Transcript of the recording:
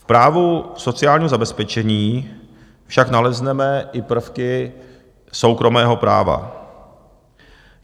V právu sociálního zabezpečení však nalezneme i prvky soukromého práva.